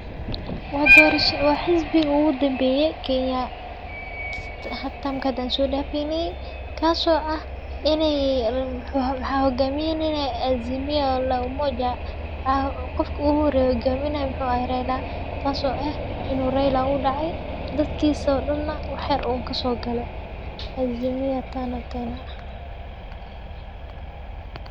Wa xizbigi ogudambeye kenya dorashada an sodafeyne kaso ah inii waxa hogaaminaye azimio la umoja qofka uguhoreye hogaminaye wuxu aha Raila taso ah in uu Raila uu dacay dadkisana waxyar uun kasogale azimio tano tena.